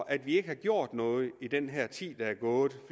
at vi ikke har gjort noget i den her tid der er gået